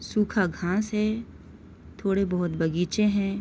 सूखा घास है थोड़े बहुत बगीचे है।